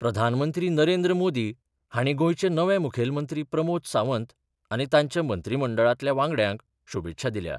प्रधानमंत्री नरेंद्र मोदी हांणी गोंयचे नवे मुखेलमंत्री प्रमोद सावंत आनी तांच्या मंत्रीमंडळातल्या वांगड्यांक शुभेच्छा दिल्या.